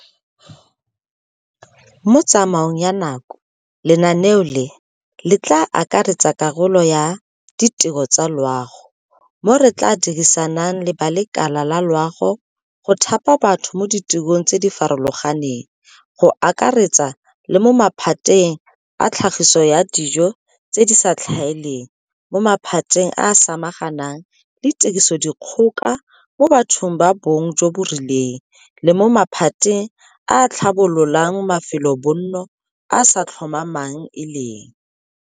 Mo tsamaong ya nako, lenaneo le, le tla akaretsa karolo ya ditiro tsa loago, mo re tla dirisanang le ba lekala la loago go thapa batho mo ditirong tse di farologaneng go akaretsa le mo maphateng a tlhagiso ya dijo tse di sa tlhaeleng, mo maphateng a a samaganang le tirisodikgoka mo bathong ba bong jo bo rileng, le mo maphateng a a tlhabololang mafelobonno a a sa tlhomamang e leng.